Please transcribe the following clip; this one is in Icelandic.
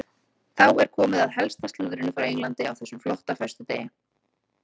Þá er komið að helsta slúðrinu frá Englandi á þessum flotta föstudegi.